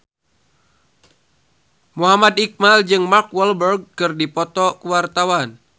Muhammad Iqbal jeung Mark Walberg keur dipoto ku wartawan